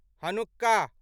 Hanukkah